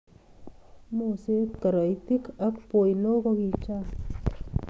Moset, koroitik ak boinok ko kichang